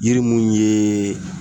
Yiri mun yee